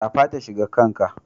Shafa ta shiga wanka.